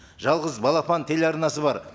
жалғыз балапан телеарнасы бар